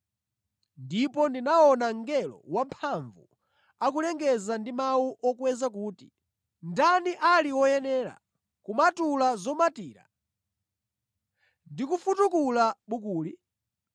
Ndipo ndinaona mngelo wamphamvu akulengeza ndi mawu okweza kuti, “Ndani ali woyenera kumatula zomatira ndi kufutukula bukuli?”